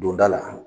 Donda la